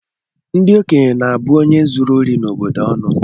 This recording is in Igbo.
Ndi okenye na-abụ onye zuru ori n’obodo onu